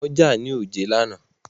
Wọ́n jà ní òjé lánàá.